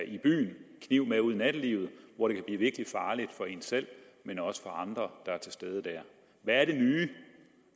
i byen kniv med ud i nattelivet hvor det kan blive virkelig farligt ikke for en selv men også for andre der er til stede dér hvad er det nye